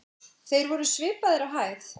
Þeir voru svipaðir á hæð.